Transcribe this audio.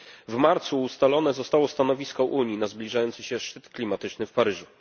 W marcu ustalone zostało stanowisko Unii na zbliżający się szczyt klimatyczny w Paryżu.